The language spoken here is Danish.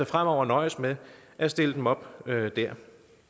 fremover nøjes med at stille dem op der det